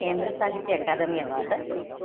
കേന്ദ്രസാഹിത്യ Akademi award ലഭിച്ചു.